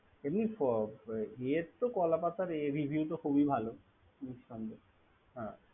হুম এ তো ইয়েত কো কলাপাতার Rivew তো খুবই ভালো নিরসন্দেহ।